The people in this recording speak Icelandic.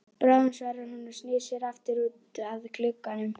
Bráðum svarar hún og snýr sér aftur út að glugganum.